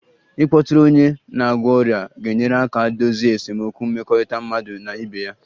Ịkpọtụrụ onye na-agwọ ọrịa ga-enyere aka dozie esemokwu mmekọrịta mmadụ na ibe ya